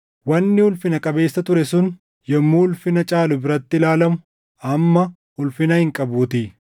Wanni ulfina qabeessa ture sun yommuu ulfina caalu biratti ilaalamu amma ulfina hin qabuutii.